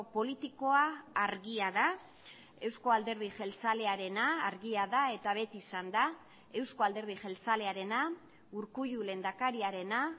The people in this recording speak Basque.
politikoa argia da euzko alderdi jeltzalearena argia da eta beti izan da euzko alderdi jeltzalearena urkullu lehendakariarena